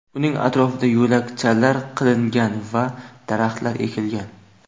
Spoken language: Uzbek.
Uning atrofida yo‘lakchalar qilingan va daraxtlar ekilgan.